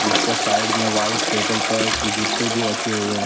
उसका साइड में white table पर जूते भी रखे हुए हैं।